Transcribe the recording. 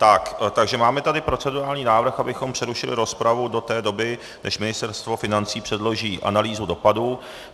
Takže máme tady procedurální návrh, abychom přerušili rozpravu do té doby, než Ministerstvo financí předloží analýzu dopadů.